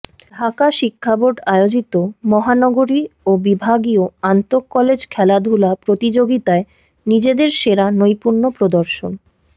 ঢাকা শিক্ষাবোর্ড আয়োজিত মহানগরী ও বিভাগীয় আন্তঃকলেজ খেলাধুলা প্রতিযোগিতায় নিজেদের সেরা নৈপুন্য প্রদর্শন